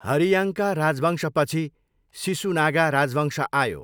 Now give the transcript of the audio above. हरियाङ्का राजवंशपछि सिसुनागा राजवंश आयो।